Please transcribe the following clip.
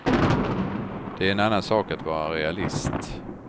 Det är en annan sak att vara realist.